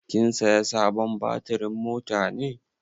Kin saya sabon batirin mota ne?